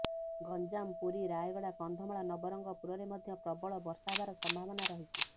ଗଞ୍ଜାମ ପୁରୀ ରାୟଗଡ଼ା କନ୍ଧମାଳ ନବରଙ୍ଗପୁରରେ ମଧ୍ୟ ପ୍ରବଳ ବର୍ଷା ହେବାର ସମ୍ଭାବନା ରହିଛି